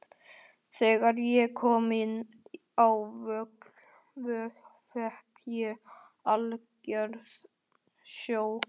Þegar ég kom inn á Vog fékk ég algjört sjokk.